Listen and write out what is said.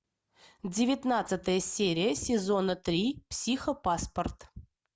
девятнадцатая серия сезона три психопаспорт